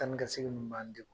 Taa ni ka segin ninnu b'an degun.